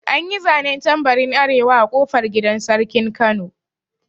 An yi zanen tambarin arewa a ƙofar gidan sarkin kano